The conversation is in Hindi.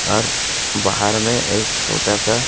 अर बाहर में एक छोटा सा--